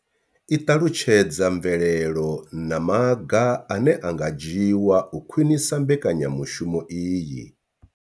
I ṱalutshedza mvelelo na maga ane a nga dzhiwa u khwinisa mbekanyamushumo iyi.